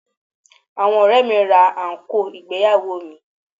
Àwọn ọ̀rẹ́ẹ̀ mi ra àǹkóò ìgbéyàwó mi.